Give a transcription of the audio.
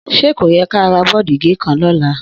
Sẹ kóyẹ kàrá bọ́dììgẹkan lọla?